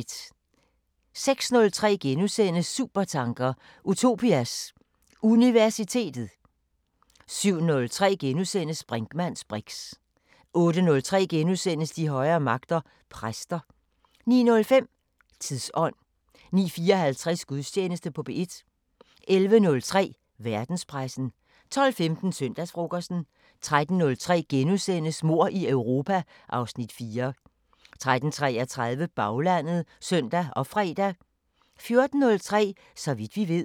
06:03: Supertanker: Utopias Universitet * 07:03: Brinkmanns briks * 08:03: De højere magter: Præster * 09:05: Tidsånd 09:54: Gudstjeneste på P1 11:03: Verdenspressen 12:15: Søndagsfrokosten 13:03: Mord i Europa (Afs. 4)* 13:33: Baglandet (søn og fre) 14:03: Så vidt vi ved